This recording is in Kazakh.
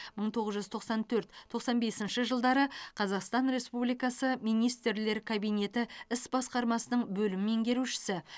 мың тоғыз жүз тоқсан төрт тоқсан бесінші жылдары қазақстан республикасы министрлер кабинеті іс басқармасының бөлім меңгерушісі